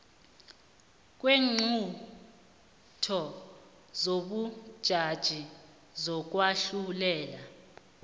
kweenqunto zobujaji zokwahlulela